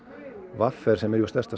v r sem er stærsta